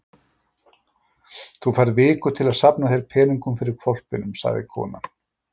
Þú færð viku til að safna þér peningum fyrir hvolpinum, sagði konan.